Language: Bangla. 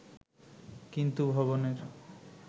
কিন্তু ভবনের